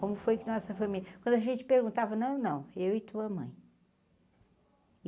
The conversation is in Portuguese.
Como foi que nossa família... Quando a gente perguntava, não, não, eu e tua mãe.